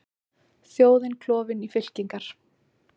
Þjóðin klofin í fylkingar